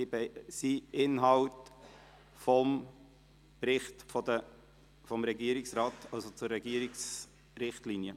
Sie gehören zum Inhalt des Berichts des Regierungsrates zu den Regierungsrichtlinien.